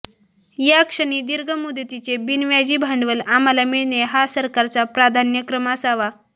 याक्षणी दीर्घ मुदतीचे बिनव्याजी भांडवल आम्हाला मिळणे हा सरकारचा प्राधान्यक्रम असावा